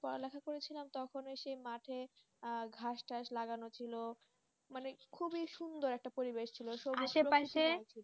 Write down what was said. পড়ালেখা করেছিলাম তখন সেই মাঠে আর ঘাস টাস লাগানো ছিল মানে খুবই সুন্দর একটা পরিবেশ ছিল